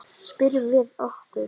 Spyrjum við okkur.